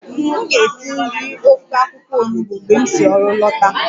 M ga-esi nri ofe akwụkwọ onugbo mgbe m si ọrụ lọta